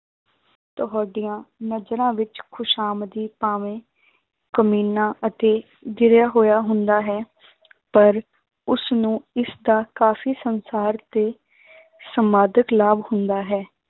ਤੁਹਾਡੀਆਂ ਨਜ਼ਰਾਂ ਵਿੱਚ ਖ਼ੁਸ਼ਾਮਦੀ ਭਾਵੇਂ ਕਮੀਨਾ ਅਤੇ ਗਿਰਿਆ ਹੋਇਆ ਹੁੰਦਾ ਹੈ ਪਰ ਉਸਨੂੰ ਇਸਦਾ ਕਾਫ਼ੀ ਸੰਸਾਰ ਤੇ ਸਮਾਧਕ ਲਾਭ ਹੁੰਦਾ ਹੈ।